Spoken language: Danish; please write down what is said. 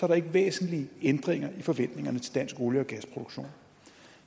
der ikke væsentlige ændringer i forventningerne til dansk olie og gasproduktion